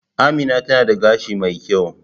Amina tana da gashi mai kyau